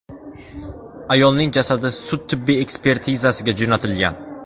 Ayolning jasadi sud-tibbiy ekspertizaga jo‘natilgan.